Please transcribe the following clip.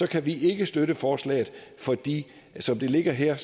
kan vi ikke støtte forslaget fordi som det ligger her